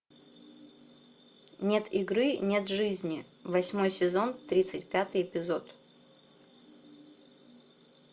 нет игры нет жизни восьмой сезон тридцать пятый эпизод